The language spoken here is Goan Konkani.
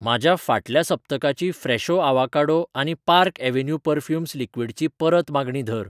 म्हज्या फाटल्या सप्तकाची फ्रेशो आवोकाडो आनी पार्क अव्हेन्यू पर्फ्यूम लिक्वीडची परत मागणी धर .